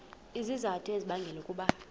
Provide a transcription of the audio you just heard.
izizathu ezibangela ukuba